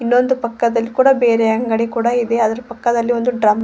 ಇದೊಂದು ಪಕ್ಕದಲ್ಲಿ ಕೂಡ ಬೇರೆ ಅಂಗಡಿ ಕೂಡ ಇದೆ ಅದರ ಪಕ್ಕದಲ್ಲಿ ಒಂದು ಡ್ರಮ್ --